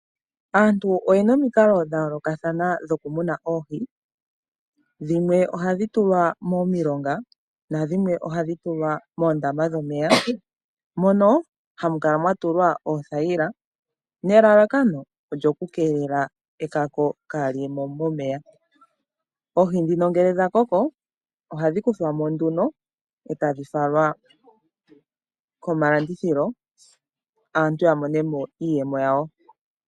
Aantu oyena omikalo dhayoolokathana dhokumuna oohi, dhimwe ohadhi tulwa momilonga nadhimwe ohadhi tulwa moondama dhomeya mono hamu kala mwatulwa pothayila nelalakano lyokukeekela ekako kaaliyemo momeya. Oohi ndhino ngele dhakoko, ohadhi yuulwamo etadhi falwa komalandithilo aantu yamonemo iiyemo.